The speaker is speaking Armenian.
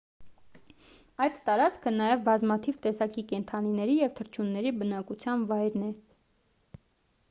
այդ տարածքը նաև բազմաթիվ տեսակի կենդանիների և թռչունների բնակության վայրն է